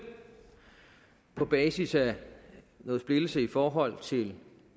på basis af noget splittelse i forhold til